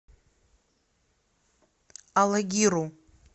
алагиру